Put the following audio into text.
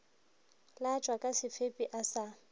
latswa ka sebepi a sa